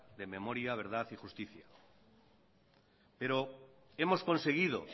de memoria verdad y justicia pero hemos conseguido